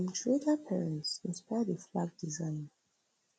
im trader parents inspire di flag desig